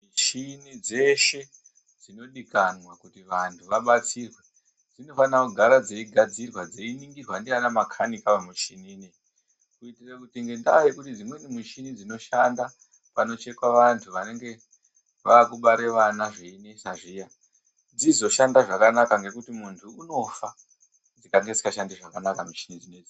Michini dzeshe dzinodikanwa kuti vanhu vabatsirwe dzinofanira kugara dzeyi gadzirwa dzeyi ningirwa ndivana makanika vemushini iyi kuitira kuti nendaa yekuti michini dzinoshanda panochekwa vantu vanenge vakubaare vana zveinetsa zviya dzizoshande zvakanaka nekuti mundu unofa ikange isinga shandi zvakanaka mishini iyi.